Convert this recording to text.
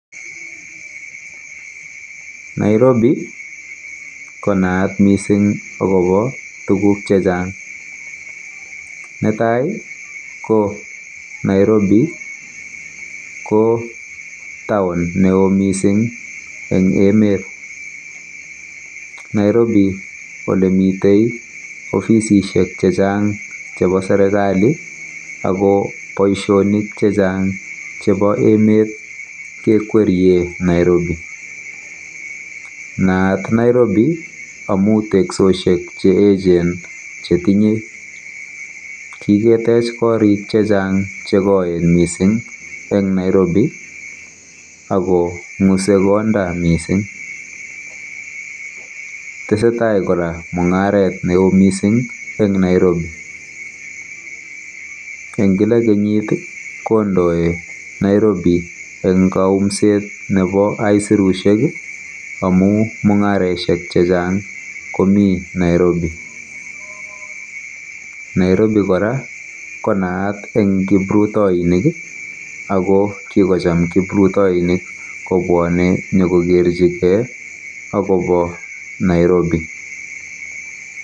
Nairobi konaat mising akobo tuguk chechang. Netai ko Nairobi ko taonit neo mising eng emet. Nairobi olemiteiofisishek chechang chebo serikali ako boisionik chechang chebo emet kekwerie Nairobi. Naat Nairobi amu teksoshek cheechen chetinyei. Kiketech korik chechang chekoen eng Nairobi akong'usei konda mising. Tesetai kora mung'aret neo eng Nairobi. Eng kila kenyit kondoi Nairobi eng kaumset nebo aisirushek